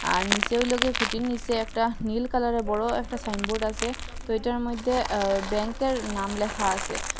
আর নিসে ওইলিগে খুটির নিসে একটা নীল কালারের বড় একটা সাইনবোর্ড আসে তো এটার মইদ্যে এ ব্যাংকের নাম লেখা আসে।